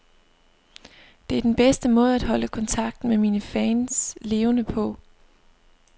Det er den bedste måde at holde kontakten med mine fans levende på.